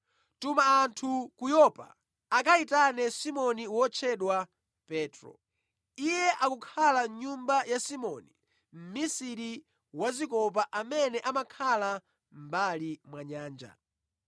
Tuma anthu ku Yopa akayitane Simoni wotchedwa Petro. Iye akukhala mʼnyumba ya Simoni mmisiri wazikopa amene amakhala mʼmbali mwa nyanja.’